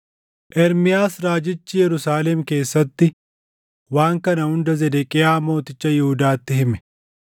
Ermiyaas raajichi Yerusaalem keessatti waan kana hunda Zedeqiyaa mooticha Yihuudaatti hime;